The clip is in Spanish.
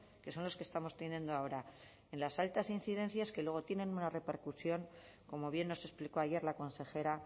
que son los que estamos teniendo ahora en las altas incidencias que luego tienen una repercusión como bien nos explicó ayer la consejera